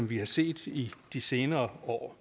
vi har set i de senere år